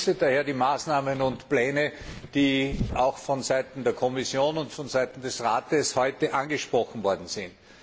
Ich begrüße daher die Maßnahmen und Pläne, die auch von Seiten der Kommission und von Seiten des Rates heute angesprochen worden sind.